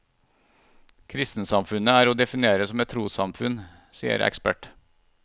Kristensamfunnet er å definere som et trossamfunn, sier ekspert.